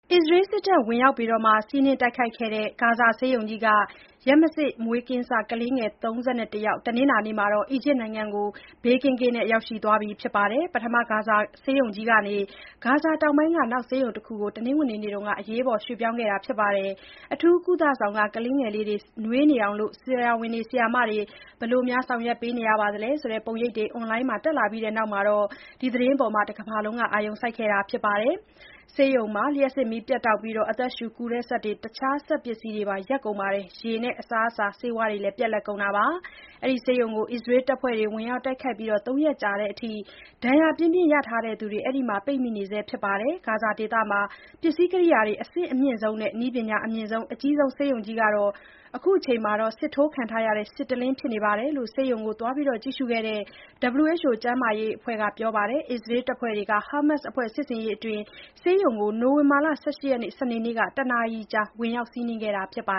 အစ္စရေးစစ်တပ်ဝင်ရောက်စီးနင်းတိုက်ခိုက်ခဲ့တဲ့ ဂါဇာဆေးရုံကြီးက ရက်မစေ့မွေးကင်းစ ကလေး ၃၁ ယောက် တနင်္လာနေ့မှာ အီဂျစ်နိုင်ငံကို ဘေးကင်းကင်းနဲ့ ရောက်သွားခဲ့ပါပြီ။ ပထမ ဂါဇာဆေးရုံကြီးကနေ ဂါဇာတောင်ပိုင်းက နောက်ဆေးရုံတရုံကို တနင်္ဂနွေနေ့က အရေးပေါ်ရွှေ့ခဲ့ရတာပါ။ အထူးကုသဆောင်က ကလေးတွေကို ဆက်ပြီးနွေးနေအောင် ဆရာဝန်၊ ဆရာမတွေ ဘယ်လိုလုပ်နေရလဲဆိုတဲ့ ပုံရိပ်တွေ အွန်လိုင်းမှာတက်လာပြီးနောက် ဒီသတင်းကို တကမ္ဘာလုံး အာရုံစိုက်နေတာပါ။ ဆေးရုံမှာ လျှပ်စစ်မီးပြတ်တောက်ပြီး အသက်ရှူကူစက်တွေနဲ့ တခြားစက်ပစ္စည်းတွေရပ်ကုန်၊ ရေ၊ အစားအစာနဲ့ ဆေးဝါးတွေ ပြတ်လပ်ကုန်ခဲ့တာပါ။ အခုဆေးရုံကို အစ္စရေးတပ်ဖွဲ့တွေ ဝင်ရောက်တိုက်ခိုက်အပြီး ၃ ရက်ကြာတဲ့အထိ ဒဏ်ရာပြင်းပြင်းရထားသူတွေ အဲဒီမှာ ပိတ်မိနေဆဲဖြစ်ပါတယ်။ ဂါဇာဒေသမှာ ပစ္စည်းကိရိယာတွေ အဆင့်အမြင့်ဆုံးနဲ့ နည်းပညာအမြင့်ဆုံး၊ အကြီးဆုံးဆေးရုံကြီးဟာ ခုတော့ စစ်ထိုးခံထားရတဲ့ စစ်တလင်းဖြစ်နေတယ်လို့ ဆေးရုံကို သွားရောက်ကြည့်ရှုခဲ့တဲ့ WHO ကမ္ဘာ့ကျန်းမာရေးအဖွဲ့က ပြောပါတယ်။ အစ္စရေးတပ်ဖွဲ့တွေက ဟာမတ်စ်အဖွဲ့စစ်ဆင်ရေးအတွင်း ဆေးရုံကို နိုဝင်ဘာ ၁၈၊ စနေနေ့က တနာရီကြာ ဝင်ရောက်စီးနင်းခဲ့တာပါ